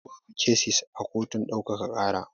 Yau babu kesis a kotun ɗaukaka ƙara.